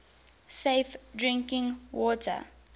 safe drinking water